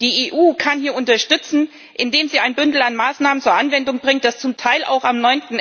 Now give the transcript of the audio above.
Die EU kann hier unterstützen, indem sie ein Bündel an Maßnahmen zur Anwendung bringt, das zum Teil auch am